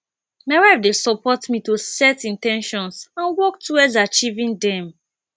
my wife dey support me to set in ten tions and work towards achieving dem